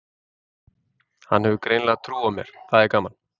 Hann hefur greinilega trú á mér, það er gaman.